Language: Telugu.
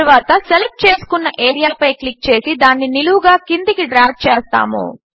తరువాత సెలెక్ట్ చేసుకున్న ఏరియాపై క్లిక్ చేసి దానిని నిలువుగా క్రిందికి డ్రాగ్ చేద్దాము